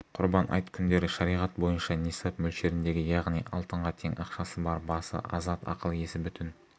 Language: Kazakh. құрбан айт күндері шариғат бойынша нисап мөлшеріндегі яғни алтынға тең ақшасы бар басы азат ақыл-есі бүтін